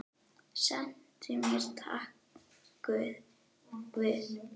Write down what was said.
Sendu mér tákn guð.